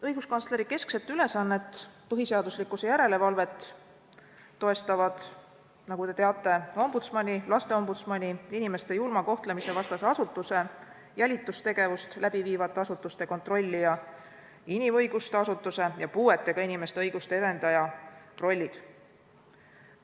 Õiguskantsleri keskset ülesannet põhiseaduslikkuse järelevalvet toestavad, nagu te teate, ombudsmani, lasteombudsmani, inimeste julma kohtlemise vastase asutuse, jälitustegevust läbi viivate asutuste kontrollija, inimõiguste asutuse ja puuetega inimeste õiguste edendaja rollid.